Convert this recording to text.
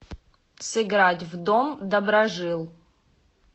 сыграть в дом доброжил